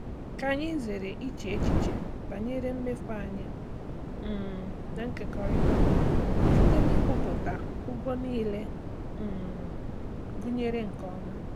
Ka anyị zere iche echiche banyere mmefu anyị um na-ekekọrịta site n'ikwupụta ụgwọ niile um gụnyere nke ọma.